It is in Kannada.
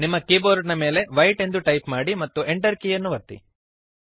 ನಿಮ್ಮ ಕೀಬೋರ್ಡ್ ನ ಮೇಲೆ ವೈಟ್ ಎಂದು ಟೈಪ್ ಮಾಡಿರಿ ಮತ್ತು Enter ಕೀಯನ್ನು ಒತ್ತಿರಿ